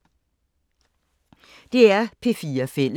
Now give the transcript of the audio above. DR P4 Fælles